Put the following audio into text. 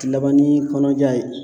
Laban ni kɔnɔja ye.